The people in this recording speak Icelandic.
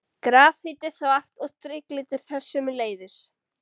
Grafít er svart og striklitur þess sömuleiðis.